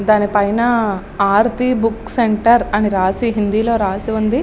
దానిపైన Aarthi books centre అని రాసి హిందీ లో రాసి ఉంది.